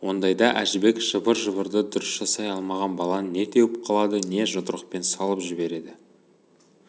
ондайда әжібек жыбыр-жыбырды дұрыс жасай алмаған баланы не теуіп қалады не жұдырықпен салып жібереді